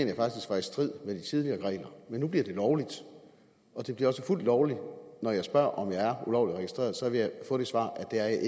jeg faktisk var i strid med de tidligere regler men nu bliver det lovligt og det bliver også fuldt lovligt når jeg spørger om jeg er ulovligt registreret så vil få det svar at det er